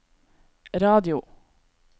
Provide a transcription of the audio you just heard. radio